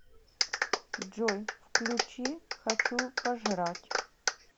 джой включи хочу пожрать